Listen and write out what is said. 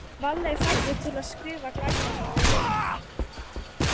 Valli er fæddur til að skrifa glæpasögur.